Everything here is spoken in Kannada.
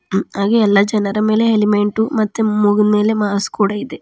ಹಾಗೆ ಎಲ್ಲಾ ಜನರ ಮೇಲೆ ಹೇಲಿಮೆಂಟು ಮತ್ತು ಮೂಗಿನ್ ಮೇಲೆ ಮಾಸ್ಕ್ ಕೂಡ ಇದೆ.